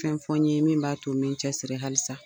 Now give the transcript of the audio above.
Fɛn fɔ n ye min b'a to n be cɛsiri halisa